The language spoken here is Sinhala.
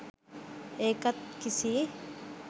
ඒකත් කිසි